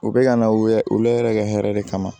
U bɛ ka na u yɛrɛ u la yɛrɛ hɛrɛ de kama